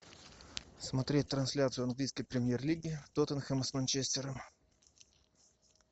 смотреть трансляцию английской премьер лиги тоттенхэм с манчестером